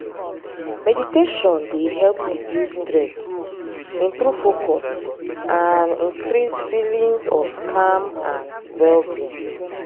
meditation dey help reduce stress improve focus and increase feelings of calm and well-being.